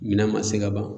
Minɛn ma se ka ban